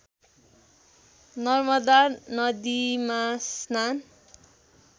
नर्मदा नदीमा स्नान